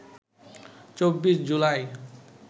২৪ July